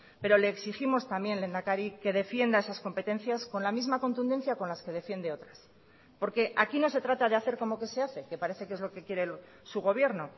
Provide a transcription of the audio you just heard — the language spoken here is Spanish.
pero le exigimos también lehendakari que defienda esas competencias con la misma contundencia con las que defiende otras porque aquí no se trata de hacer como que se hace que parece que es lo que quiere su gobierno